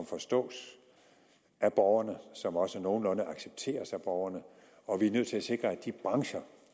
forstås af borgerne og som også nogenlunde accepteres af borgerne og vi er nødt til at sikre at de brancher